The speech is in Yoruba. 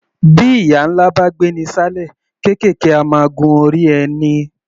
Bí ìyà ńlá bá gbé'ni ṣán'lẹ̀, kéékèèké á máa gun orí ẹni.